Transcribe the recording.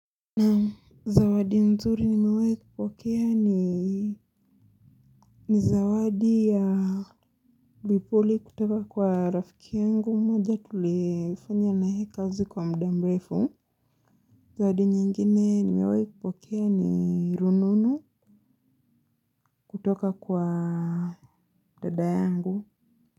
Zawadi nzuri nimewahi kupokea ni ni zawadi ya vipuli kutoka kwa rafiki yangu mmoja tuliyefanya na yeye kazi kwa muda mrefu. Zawadi nyingine nimewahi kupokea ni rununu kutoka kwa dada yangu.